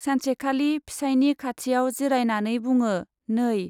सानसेखालि फिसाइनि खाथियाव जिरायनानै बुङो, नै